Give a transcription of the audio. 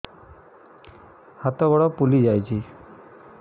ହାତ ଗୋଡ଼ ଫୁଲି ଯାଉଛି